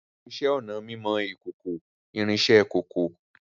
Ìṣẹ̀ onà mímọ̀ ìkòkò-ìrín sẹ́ kókó